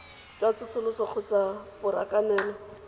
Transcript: jwa tsosoloso kgotsa ke borakanelo